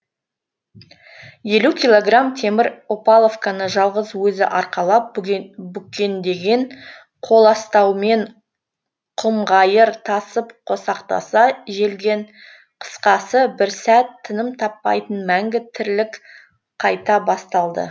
елу килограмм темір опаловканы жалғыз өзі арқалап бүкеңдеген қоластаумен құмғайыр тасып қосақтаса желген қысқасы бір сәт тыным таппайтын мәңгі тірлік